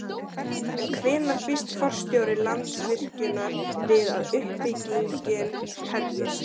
En hvenær býst forstjóri Landsvirkjunar við að uppbyggingin hefjist?